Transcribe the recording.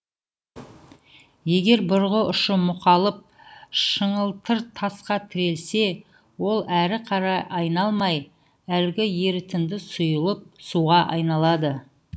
егер бұрғы ұшы мұқалып шыңылтыр тасқа тірелсе ол әрі қарай айналмай әлгі ерітінді сұйылып суға айналады